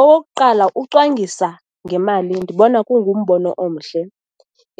Okokuqala, ucwangisa ngemali, ndibona kungumbono omhle.